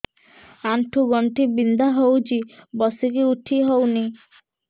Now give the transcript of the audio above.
ଆଣ୍ଠୁ ଗଣ୍ଠି ବିନ୍ଧା ହଉଚି ବସିକି ଉଠି ହଉନି